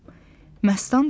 Məstan dedi.